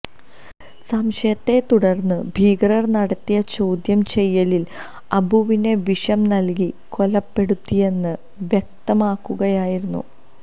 സംശയത്തെ തുടർന്ന് ഭീകരർ നടത്തിയ ചോദ്യം ചെയ്യലിൽ അബുവിനെ വിഷം നൽകി കൊലപ്പെടുത്തിയെന്ന് വ്യക്തമാകുകയായിരുന്നു